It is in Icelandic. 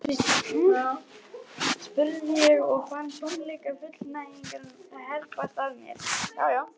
spurði ég og fann tómleika fullnægingarinnar herpast að mér.